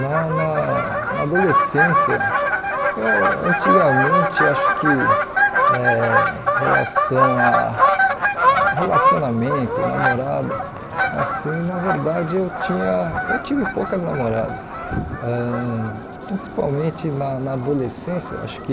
Na na na adolescência, eu antigamente acho que eh relação a a relacionamento, namorada, assim, na verdade eu tinha eu tive poucas namoradas, ãh principalmente na na adolescência, acho que